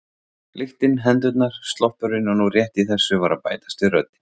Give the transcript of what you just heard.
Lyktin, hendurnar, sloppurinn og nú rétt í þessu var að bætast við röddin